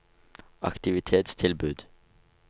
aktivitetstilbud